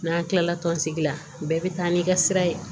N'an kilala tɔnsigi la bɛɛ bɛ taa n'i ka sira ye